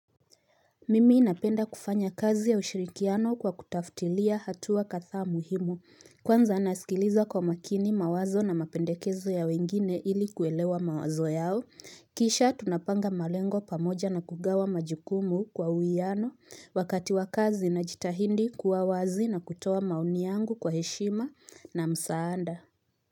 Mimi napenda kufanya kazi ya ushirikiano kwa kutafutilia hatua kadhaa muhimu, kwanza nasikiliza kwa makini mawazo na mapendekezo ya wengine ili kuelewa mawazo yao, kisha tunapanga malengo pamoja na kugawa majukumu kwa uwiano, wakati wa kazi inajitahidi kuwa wazi na kutoa maoni yangu kwa heshima na msaada.